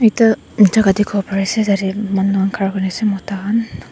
ekta jaga dikhiwo pare ase tate manu khan khara kure ase mota khan.